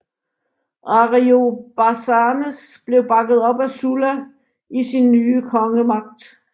Ariobarzanes blev bakket op af Sulla i sin nye kongemagt